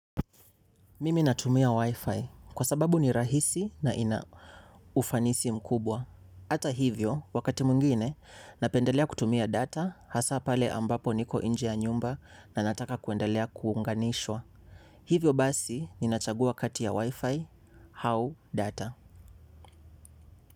Mimi natumia Wi-Fi kwa sababu ni rahisi na ina ufanisi mkubwa. Ata hivyo, wakati mwingine, napendelea kutumia data hasa pale ambapo niko nje nyumba na nataka kuendelea kuunganishwa. Hivyo basi, ninachagua kati ya Wi-Fi, hau data.